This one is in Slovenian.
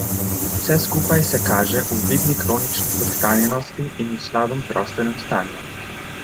Vse skupaj se kaže v vidni kronični podhranjenosti in slabem zdravstvenem stanju.